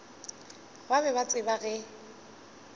ba be ba tseba ge